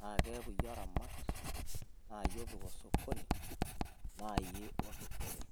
naa keaku yiee oramat naayiee opiik osokoni naa yiee odupore